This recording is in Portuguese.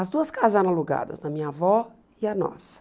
As duas casas eram alugadas, da minha avó e a nossa.